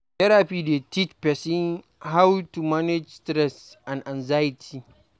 Therapy dey teach person how to manage stress and anxiety